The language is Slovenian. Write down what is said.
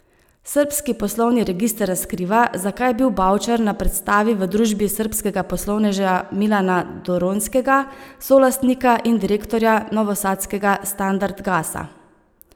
Srbski poslovni register razkriva, zakaj je bil Bavčar na predstavi v družbi srbskega poslovneža Milana Doronjskega, solastnika in direktorja novosadskega Standard Gasa.